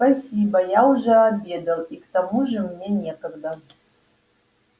спасибо я уже обедал и к тому же мне некогда